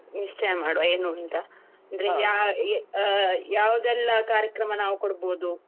ನಿಶ್ಚಯ ಮಾಡುವ ಏನು ಅಂತ ಅಂದ್ರೆ ಯಾ~ ಆಹ್ ಯಾವುದೆಲ್ಲ ಕಾರ್ಯಕ್ರಮ ನಾವು ಕೊಡ್ಬೋದು.